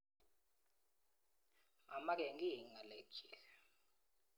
Mamake kiy ng'alekchik.